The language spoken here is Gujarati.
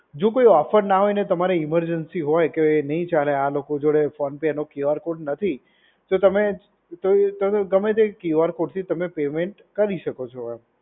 જો કોઈ ઓફર ના હોય ને તમારે ઇમર્જન્સી હોય કે નહીં ચાલે. આ લોકો જોડે ફોનપે નો ક્યુ આર કોડ નથી, તો તમે તો તમે ગમે તે કયુ આર કોડથી તમે પેમેન્ટ કરી શકો છો એમ.